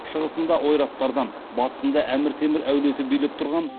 шығысында ойраттардан батысында әмір темір әулеті билеп тұрған